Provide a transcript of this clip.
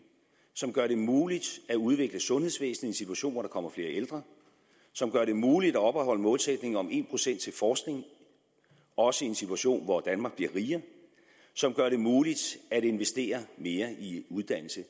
som gør det muligt at udvikle sundhedsvæsenet i en situation hvor der kommer flere ældre som gør det muligt at opretholde målsætningen om en procent til forskning også i en situation hvor danmark bliver rigere som gør det muligt at investere mere i uddannelse